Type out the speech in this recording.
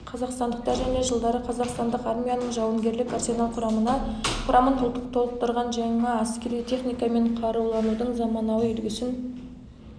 қазақстандықтар және жылдары қазақстандық армияның жауынгерлік арсенал құрамын толықтырған жаңа әскери техника мен қаруланудың заманауи үлгісін